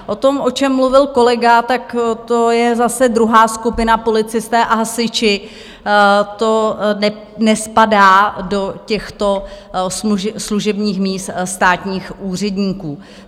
O tom, o čem mluvil kolega, tak to je zase druhá skupina, policisté a hasiči, to nespadá do těchto služebních míst státních úředníků.